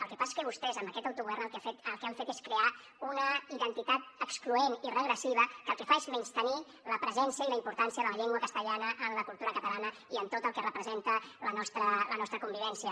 el que passa és que vostès amb aquest autogovern el que han fet és crear una identitat excloent i regressiva que el que fa és menystenir la presència i la importància de la llengua castellana en la cultura catalana i en tot el que representa la nostra convivència